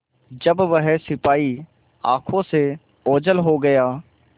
जब वह सिपाही आँखों से ओझल हो गया